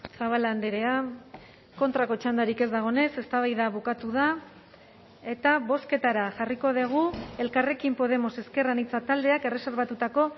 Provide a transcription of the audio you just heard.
zabala andrea kontrako txandarik ez dagoenez eztabaida bukatu da eta bozketara jarriko dugu elkarrekin podemos ezker anitza taldeak erreserbatutako